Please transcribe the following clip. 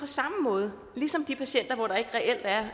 samme måde som de patienter hvor der ikke reelt er